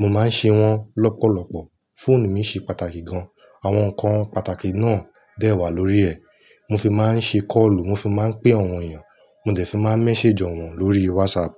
Mo máa ń ṣe wọ́n lọ́pọ̀lọpọ̀. Fóònù mi ṣe pàtàkì gan-an. Àwọn ǹkan pàtàkì náà dẹ́wà lórí ẹ̀. Mo fi máa ń ṣe kọ́ọ̀lù, mo fi máa ń pe àwọn èyàn, mo dẹ̀ fi máa ń message èyàn lórí WhatsApp.